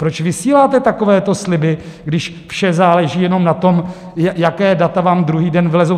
Proč vysíláte takovéto sliby, když vše záleží jenom na tom, jaká data vám druhý den vylezou?